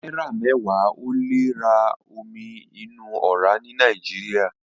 Náírà mẹ́wàá ò lè ra omi inú ọ̀rá ní Nàìjíríà.